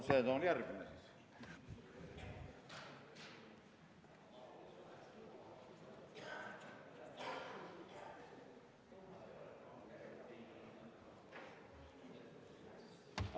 See on järgmine siis.